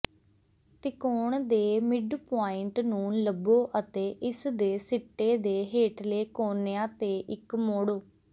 ਤਿਕੋਣ ਦੇ ਮਿਡਪੁਆਇੰਟ ਨੂੰ ਲੱਭੋ ਅਤੇ ਇਸਦੇ ਸਿੱਟੇ ਦੇ ਹੇਠਲੇ ਕੋਨਿਆਂ ਤੇ ਇੱਕ ਮੋੜੋ